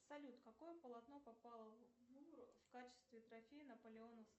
салют какое полотно попало в лувр в качестве трофея наполеона